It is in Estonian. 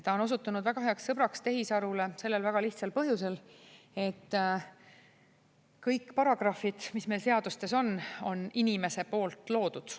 Ta on osutunud väga heaks sõbraks tehisarule sellel väga lihtsal põhjusel, et kõik paragrahvid, mis meil seadustes on, on inimese poolt loodud.